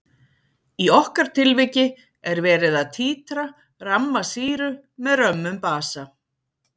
í okkar tilviki er verið að títra ramma sýru með römmum basa